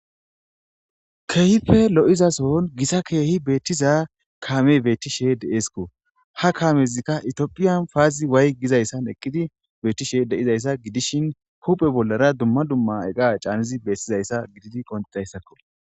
Keehippe lo7izason gisa keehi beettiza kaame beettishe de7esikko ha kaamezikka itiophiyan paazi way gizayssan eqqidi beettishe deizayssa gidishin kuphe bollara dumma dumma eqa caanizi beettizayssa gididi qoncidayssakko